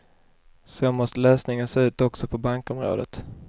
Så måste lösningen se ut också på bankområdet.